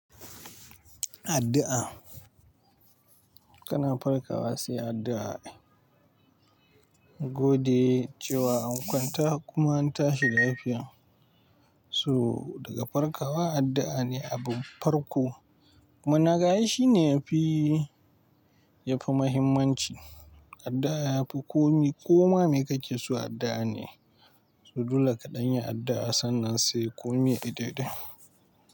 Addu'a, kana farkawa sai addu'a. Gode cewa an kwanta kuma an tashi da lafiya. So daga farkawa addu'a ne abin farko kuma naga ai shi ne yafi, yafi muhimmanci. Addu'a yafi komi, koma me kake so addu'a ne. So dole kaɗan yi addu'a sannan sai komi yayi daidai.